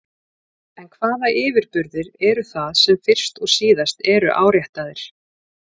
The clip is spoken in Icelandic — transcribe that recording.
En hvaða yfirburðir eru það sem fyrst og síðast eru áréttaðir?